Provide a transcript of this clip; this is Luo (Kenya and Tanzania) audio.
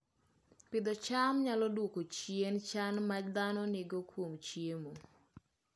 Pidho cham nyalo dwoko chien chan ma dhano nigo kuom chiemo